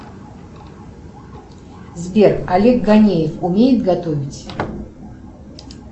сбер олег ганеев умеет готовить